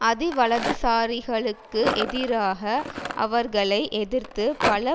அதி வலதுசாரிகளுக்கு எதிராக அவர்களை எதிர்த்து பல